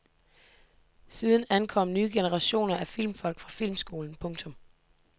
Siden ankom nye generationer af filmfolk fra filmskolen. punktum